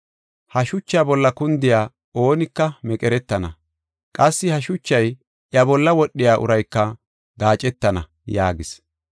[Ha shucha bolla kundiya oonika meqeretana. Qassi ha shuchay iya bolla wodhiya urayka gaacetana”] yaagis.